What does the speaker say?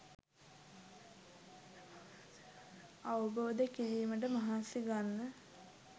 අවබෝධ කිරීමට මහන්සි ගන්න.